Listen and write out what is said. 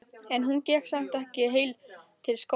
En hún gekk samt ekki heil til skógar.